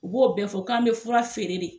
U b'o bɛɛ fɔ k'an bɛ fura feere de.